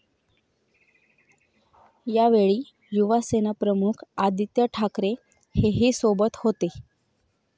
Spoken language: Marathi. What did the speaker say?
यावेळी युवासेना प्रमुख आदित्य ठाकरे हेही सोबत होते.